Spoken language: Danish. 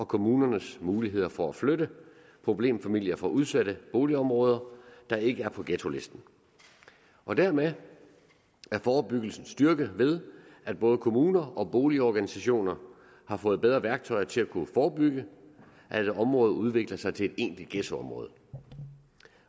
kommunernes muligheder for at flytte problemfamilier fra udsatte boligområder der ikke er på ghettolisten og dermed er forebyggelsen styrket ved at både kommuner og boligorganisationer har fået bedre værktøjer til at kunne forebygge at et område udvikler sig til et egentligt ghettoområde